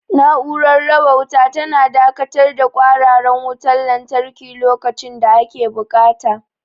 Na'urar raba wuta tana dakatar da kwararar wutar lantarki lokacin da ake buƙata.